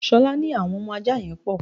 Ṣolá ní àwọn ọmọ ajá yẹn pò.